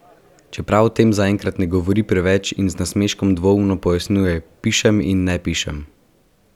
Čeprav o tem zaenkrat ne govori preveč in z nasmeškom dvoumno pojasnjuje: "Pišem in ne pišem.